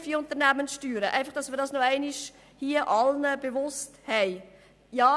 Dies möchte ich Ihnen allen nochmals bewusst machen.